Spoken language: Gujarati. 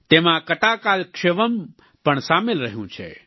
તેમાં કતાકાલક્ષેવમ પણ સામેલ રહ્યું છે